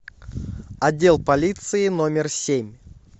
отдел полиции номер семь